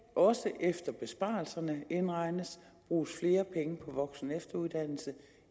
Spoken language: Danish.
også efter at besparelserne indregnes bruges flere penge på voksen og efteruddannelse